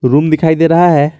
Room दिखाई दे रहा है।